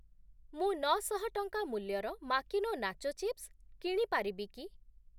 ମୁଁ ନଅ ଶହ ଟଙ୍କା ମୂଲ୍ୟର ମାକିନୋ ନାଚୋ ଚିପ୍ସ୍‌ କିଣି ପାରିବି କି?